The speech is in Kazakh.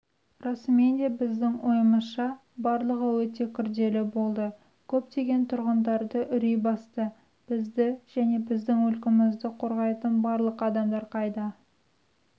расымен де біздің ойымызша барлығы өте күрделі болды көптеген тұрғындарды үрей басты бізді және біздің мүлкімізді қорғайтын барлық адамдар қайда